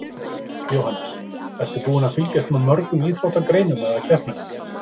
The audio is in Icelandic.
Jóhannes: Ertu búin að fylgjast með mörgum íþróttagreinum eða keppnum?